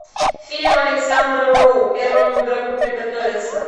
фильм александра роу первому игроку приготовиться